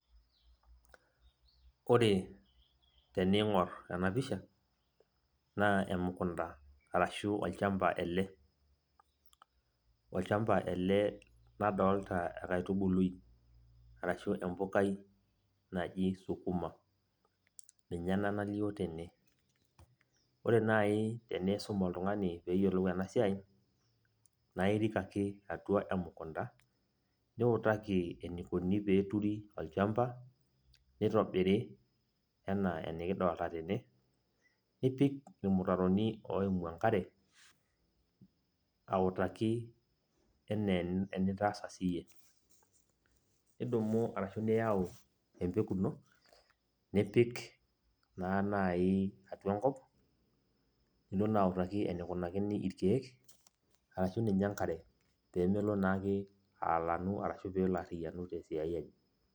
Ore tening'or enapisha, naa emukunda arashu olchamba ele. Olchamba ele ladolta enkaitubului, arashu empukai naji sukuma. Ninye ena nalio tene. Ore nai tenisum oltung'ani peyiolou enasiai, naa irik ake atua emukunda, niutaki enikoni peturi olchamba, nitobiri enaa enikidolta tene, nipik irmutaroni oimu enkare, autaki enaa enitaasa siyie. Nidumu arashu niyau empeku ino, nipik naa nai atua enkop, nilo naa autaki enikunakini irkeek, arashu ninye enkare. Pemelo naake aalanu arashu peelo arriyianu tesiai enye.